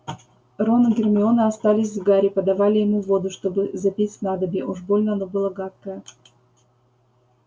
рон и гермиона остались с гарри подавали ему воду чтобы запить снадобье уж больно оно было гадкое